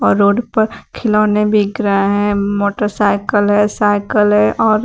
road पर खिलौने बिक रहा है मोटरसाइकिल है साइकिल है और--